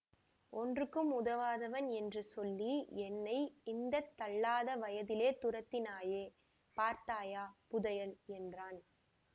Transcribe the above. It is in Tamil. ஒன்றுக்கும் உதவாதவன் என்று சொல்லி என்னை இந்த தள்ளாத வயதிலே துரத்தினாயே பார்த்தாயா புதையல் என்றான்